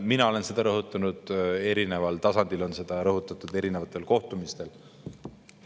Mina olen seda rõhutanud, eri tasanditel on seda rõhutatud erinevatel kohtumistel.